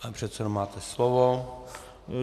Pane předsedo, máte slovo.